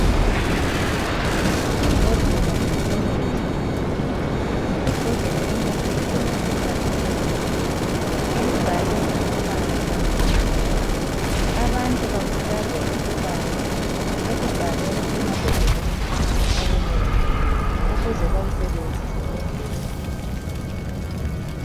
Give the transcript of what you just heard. imbhodlela yomuthi ilephepha eceleni elibhalwe ngamabala amnyama abantu bakhuthazwa ukubala okubhalwe emabhodleleni womuthi ukuze bewasebenzise ngendlela